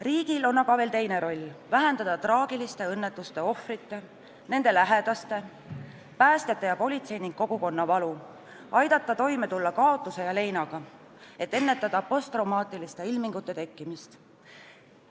Riigil on aga veel teinegi roll: vähendada traagiliste õnnetuste ohvrite, nende lähedaste, päästjate ja politsei ning kogukonna valu, aidata toime tulla kaotuse ja leinaga, et ennetada posttraumaatiliste ilmingute tekkimist.